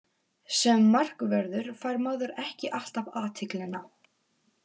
Sem markvörður fær maður ekki alltaf athyglina.